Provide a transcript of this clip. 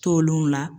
Tolenw la